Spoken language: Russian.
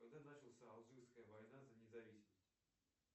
когда начался алжирская война за независимость